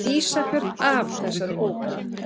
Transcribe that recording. Ísafjörð af þessari óværu!